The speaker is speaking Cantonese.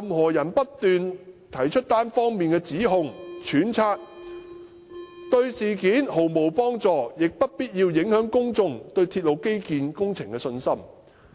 任何人"只不斷提出單方面的指控或揣測，對事件毫無幫助，亦不必要地影響公眾對鐵路基建工程的信心"。